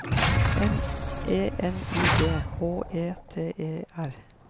M E N I G H E T E R